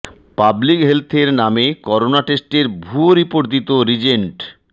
public হেলথের নামে corona টেস্টের ভুয়া রিপোর্ট দিতো রিজেন্ট